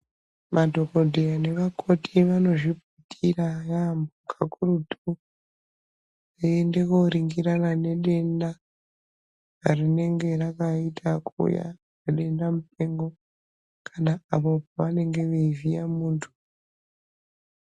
Madhokodheya nevakoti vanozvipira yaambo kakurutu veiende kuoringirana nedenda rinenge rakaita kuuya sedenda mupengo kana apo pavanenge veivhiya muntu.